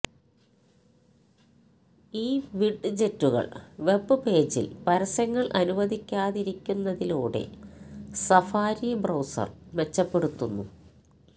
ഈ വിഡ്ജെറ്റുകൾ വെബ് പേജിൽ പരസ്യങ്ങൾ അനുവദിക്കാതിരിക്കുന്നതിലൂടെ സഫാരി ബ്രൌസർ മെച്ചപ്പെടുത്തുന്നു